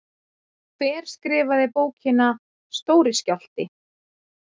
Hver skrifaði bókina Stóri skjálfti?